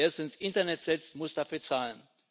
Wer es ins Internet setzt, muss dafür zahlen.